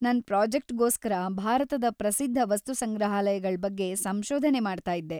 ನನ್‌ ಪ್ರಾಜೆಕ್ಟ್‌ಗೋಸ್ಕರ ಭಾರತದ ಪ್ರಸಿದ್ಧ ವಸ್ತುಸಂಗ್ರಹಾಲಯಗಳ್‌ ಬಗ್ಗೆ ಸಂಶೋಧನೆ ಮಾಡ್ತಾಯಿದ್ದೆ.